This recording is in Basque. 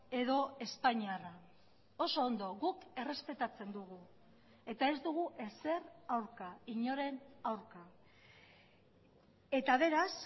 edo espainiarra oso ondo guk errespetatzen dugu eta ez dugu ezer aurka inoren aurka eta beraz